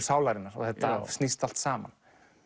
sálarinnar og þetta snýst allt saman